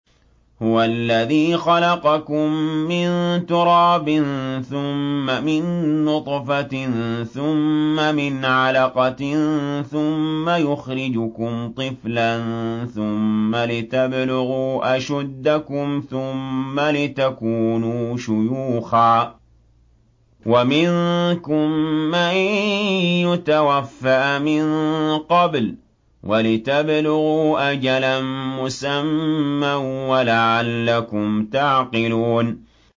هُوَ الَّذِي خَلَقَكُم مِّن تُرَابٍ ثُمَّ مِن نُّطْفَةٍ ثُمَّ مِنْ عَلَقَةٍ ثُمَّ يُخْرِجُكُمْ طِفْلًا ثُمَّ لِتَبْلُغُوا أَشُدَّكُمْ ثُمَّ لِتَكُونُوا شُيُوخًا ۚ وَمِنكُم مَّن يُتَوَفَّىٰ مِن قَبْلُ ۖ وَلِتَبْلُغُوا أَجَلًا مُّسَمًّى وَلَعَلَّكُمْ تَعْقِلُونَ